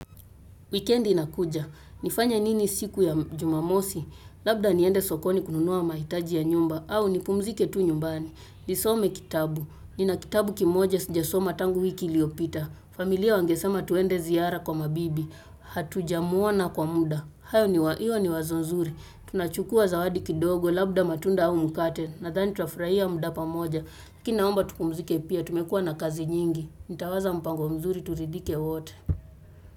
Weekend inakuja. Nifanye nini siku ya jumamosi. Labda niende sokoni kununua maitaji ya nyumba. Au nipumzike tu nyumbani. Nisome kitabu. Nina kitabu kimoja sinja soma tangu wiki iliopita. Familia wangesema tuende ziara kwa mabibi. Hatuja muona kwa muda. Hayo ni hiyo ni wazo nzuri. Tunachukua zawadi kidogo. Labda matunda au mkate. Nadhani tutafraia muda pamoja. Akinaomba tupumzike pia. Tumekua na kazi nyingi. Nitawaza mpango mzuri turidhike wote.